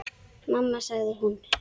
Mamma sagði hún.